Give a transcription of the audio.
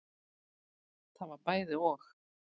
Það var bæði og.